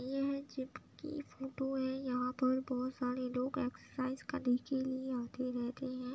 यह जिप की फ़ोटो है। यहाँ पर बोहत सारे लोग एक्सरसाइज करने के लिए आते रहते हैं ।